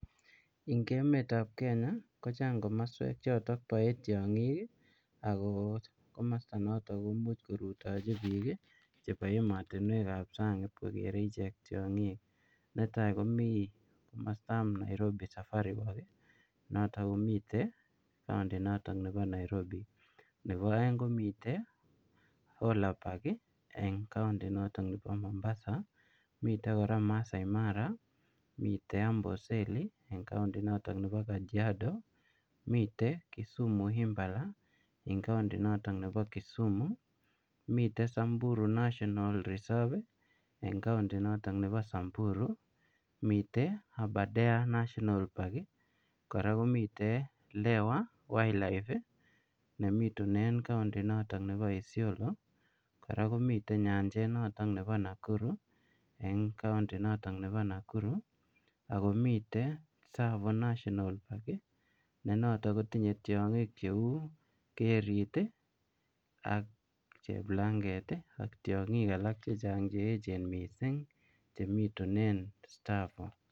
Eng emet ab Kenya ko chaang komosweek chotoon bae tiangiik ii ako komostaa notoon komuuch korutajii biik eng ematinweek ab saang ii kogerei icheek tiangik netai komii komosta ab [Nairobi safari work ] notoon komiteen [county] nebo Nairobi nebo aeng komiteen ola bank eng [county] notoon nebo Mombasa miten kora maasai mara miten kora amboseli en [county] notoon nebo kajiado miten Kisumu [Impala] eng [county] noto n nebo Kisumu miten samburu [national reserve] en county notoon nebo Kisumu miten abadare national park kora komiitean lewa [wildlife] ne bituneen county notoon county notoon nebo isiolo kora komiteen nyanjeet nebo Nakuru eng county notoon nebo Nakuru ako miten [tsavo national park] ne notoon kotinyei tiangiik che uu ngetundo cheplanget ak tiangik alak che chaang che eecheen missing che mituneen tsavo.